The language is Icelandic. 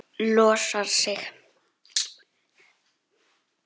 Losar sig.